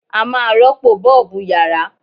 A máa rọ́pò Bọ́ọ̀bù yàrá.